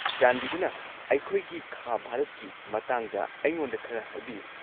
ꯆꯥꯟꯕꯤꯗꯨꯅ ꯑꯩꯈꯣꯏꯒꯤ ꯈꯥ ꯚꯥꯔꯠꯀꯤ ꯃꯇꯥꯡꯗ ꯑꯩꯉꯣꯟꯗ ꯈꯔ ꯍꯥꯏꯕꯤꯌꯨ꯫